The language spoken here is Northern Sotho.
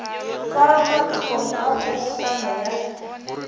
tšwa malokong a kgobokano ya